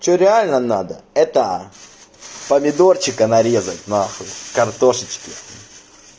что реально надо это помидорчика нарезать нахуй картошечки